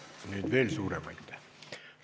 Nüüd veel suurem aitäh!